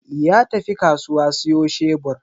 Ya tafi kasuwa siyo shebur.